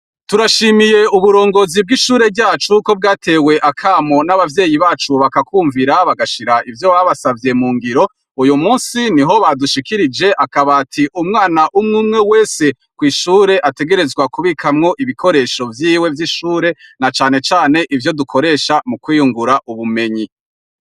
Turashimiye uburongozi bw'ishure ryacu yuko bwatewe akamo n'abavyeyi bacu bakakwumvira bagashira ivyo babasavye mu ngiro uyu musi ni ho badushikirije akabati umwana umwe umwe wese kw'ishure ategerezwa kubikamwo ibikoresho vyiwe vy'ishure na canecane ivyo dukoresha mu kwiyungura ubume ani.